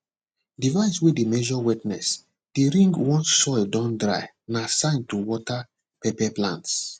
device way dey measure wetness dey ring once soil don dry na sign to water pepper plants